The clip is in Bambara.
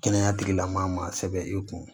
Kɛnɛya tigila maa sɛbɛn i kun